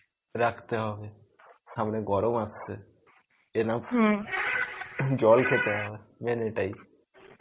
রাখতে হবে. সামনে গরম আসছে. enough জল খেতে হবে. main এটাই.